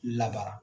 Labara